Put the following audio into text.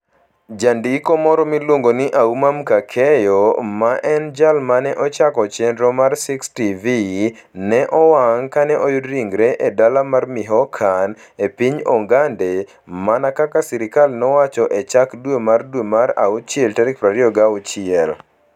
Jandiko moro miluongo ni Auma Mckakeyo, ma en jal ma ne ochako chenro mar 6TV, ne owang ' kane oyud ringrene e dala mar Michoacan, e piny Ogande, mana kaka sirkal nowacho e chak dwe mar dwe mar awuchiel 26: